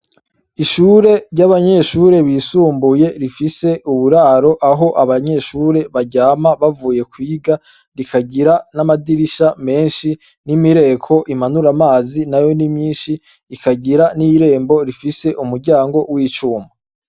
Ishure ry'abanyeshure bisumbuye rifise uburaro aho abanyeshure baryama bavuye kwiga, rikagira n'amadirisha menshi n'imireko imanura amazi, nayo ni myinshi ikagira n'irembo rifise umuryango w'icuma.